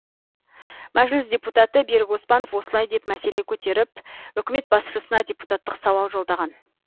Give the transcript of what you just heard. мәжіліс депутаты берік оспанов осылай деп мәселе көтеріп үкімет басшысына депутаттық сауал жолдаған